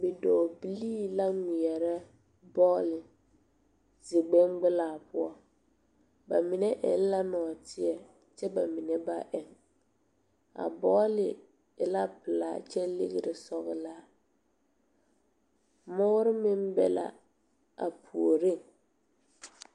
Bidɔɔbilee la ŋmeɛrɛ bɔle zie gbiŋgbilaa poɔ ba mine eŋ la nɔɔteɛ kyɛ ba mine ba eŋ a bɔle e la pilaa kyɛ legre sɔglaa noɔre meŋ be la a puoriŋ.